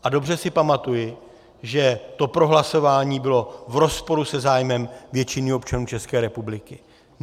A dobře si pamatuji, že to prohlasování bylo v rozporu se zájmem většiny občanů České republiky.